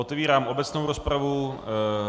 Otevírám obecnou rozpravu.